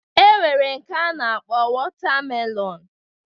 E nwere nke a na-akpọ wọta melọnu